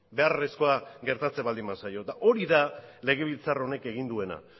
beharrezkoa gertatzen baldin bazaio eta hori da legebiltzar honek egin duena